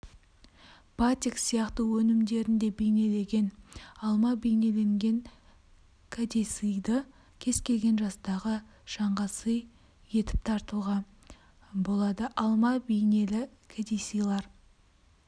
батик сияқты өнімдерінде бейнелеген алма бейнеленген кәдесыйды кез-келген жастағы жанға сый етіптартуға болады алма бейнелі кәдесыйлар